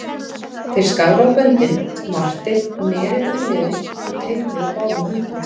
Þeir skáru á böndin, Marteinn neri úlnliði og teygði úr báðum höndum.